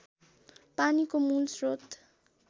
पानीको मूल श्रोत